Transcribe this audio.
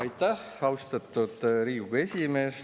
Aitäh, austatud Riigikogu esimees!